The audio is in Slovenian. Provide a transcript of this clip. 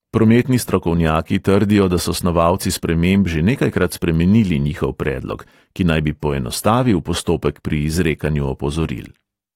Prometni strokovnjaki trdijo, da so snovalci sprememb že nekajkrat spremenili njihov predlog, ki naj bi poenostavil postopek pri izrekanju opozoril.